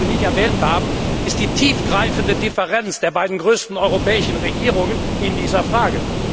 Was Sie dabei nicht erwähnt haben, ist die tiefgreifende Differenz der beiden größten europäischen Regierungen in dieser Frage.